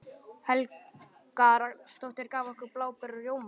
Helga Rafnsdóttir, gaf okkur bláber og rjóma.